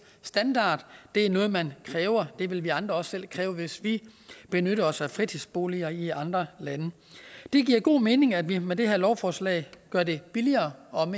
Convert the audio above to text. standard det er noget man kræver det vil vi andre også selv kræve hvis vi benytter os af fritidsboliger i andre lande det giver god mening at vi med det her lovforslag gør det billigere og